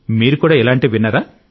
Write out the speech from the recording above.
మీరు కూడా ఇలాంటివి విన్నారా